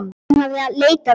En hún hafði leitað annað.